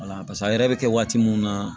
Wala paseke a yɛrɛ bɛ kɛ waati mun na